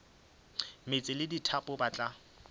meetse le dithapo ba tla